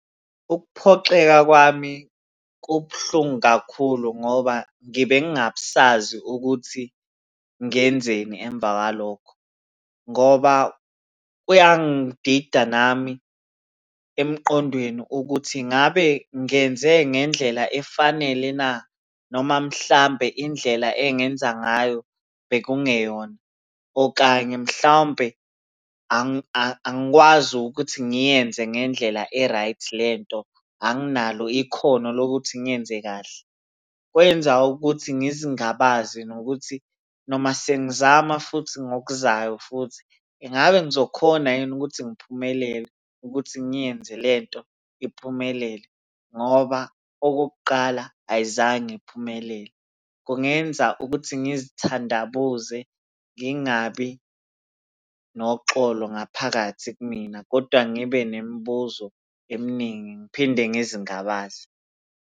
Ukuphoxeka kwami kubuhlungu kakhulu ngoba ngibe ngingasazi ukuthi ngenzeni emva kwalokho, ngoba kuyangidida nami emqondweni ukuthi ngabe ngenze ngendlela efanele na? Noma mhlampe indlela engenza ngayo bekungeyona, okanye mhlawumpe angikwazi ukuthi ngiyenze ngendlela e-right lento, anginalo ikhono lokuthi ngiyenze kahle. Kwenza ukuthi ngizingabaze nokuthi noma sengizama futhi ngokuzayo futhi engabe ngizokhona yini ukuthi ngiphumelele ukuthi ngiyenze le nto iphumelele ngoba okokuqala ayizange iphumelele. Kungenza ukuthi ngizithandabuze ngingabi noxolo ngaphakathi kumina kodwa ngibe nemibuzo eminingi ngiphinde ngizingabaze.